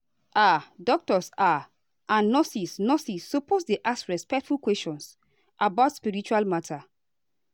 ah doctors ah and nurses nurses suppose dey ask respectful questions about spiritual matter.